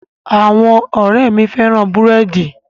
Àwọn ọ̀rẹ́ẹ̀ mi féràn búrẹ́dì.